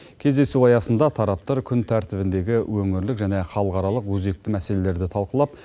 кездесу аясында тараптар күн тәртібіндегі өңірлік және халықаралық өзекті мәселелерді талқылап